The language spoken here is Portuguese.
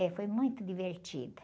É, foi muito divertida.